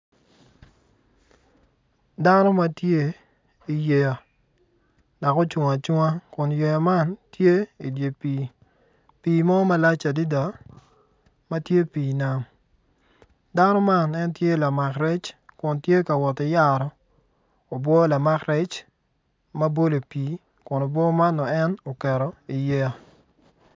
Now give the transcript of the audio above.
Dano ma tye iyeya dok ocung acunga kun yeya man tye idye pii pii mo malac adada ma tye pii nam dano man en tye lamak rec kun tye ka woti yaro obwo lamak rec ma bolo i pii kun obwo man nongo en oketo iyeya.